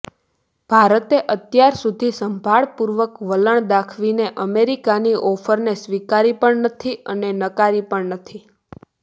ભારતે અત્યાર સુધી સંભાળપૂર્વક વલણ દાખવીને અમેરિકાની ઓફરને સ્વીકારી પણ નથી અને નકારી પણ નથી